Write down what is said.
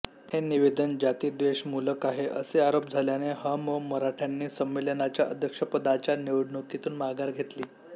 हे निवेदन जातिद्वेषमूलक आहे असे आरोप झाल्याने ह मो मराठ्यांनी संमेलनाच्या अध्यक्षपदाच्या निवडणुकीतून माघार घेतली